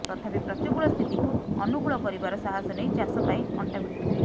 ତଥାପି ପ୍ରତିକୂଳ ସ୍ଥିତିକୁ ଅନୁକୂଳ କରିବାର ସାହାସ ନେଇ ଚାଷ ପାଇଁ ଅଂଟା ଭିଡିଥିଲା